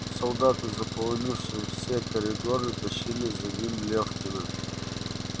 солдаты заполнившие все коридоры тащили за ним лёфкина